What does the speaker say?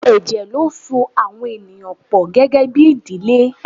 Ẹ̀jẹ̀ ló ń so àwọn ènìyàn pọ gẹ́gẹ́bí ìdílé.